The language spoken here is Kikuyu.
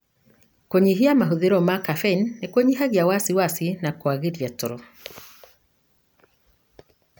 Kũnyihia mahũthiro ma kafeini nĩkũnyihagia wasiwasi na kũagĩũria toro.